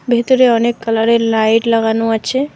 ভেতরে অনেক কালারের লাইট লাগানো আছে।